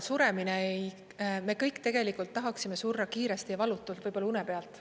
Me kõik tahaksime surra kiiresti ja valutult, võib-olla une pealt.